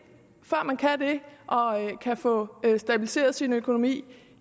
og kan få stabiliseret sin økonomi